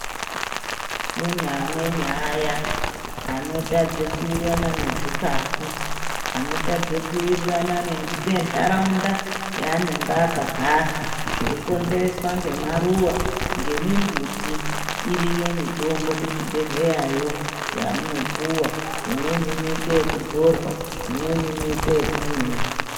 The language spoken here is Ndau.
Kune amweni aya anotadze kuwirirana nezvikafu anotadze kuwirirana ngendaraunda yaanonge akagara zveyikonzereswa ngemaruva ngemimbuti iriyo mitombo kuchibhedhleya yoo yamunopuwa imweni inoitwe yekudzorwa imweni inoite yekumwiwa.